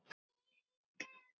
Við tóku annasöm ár.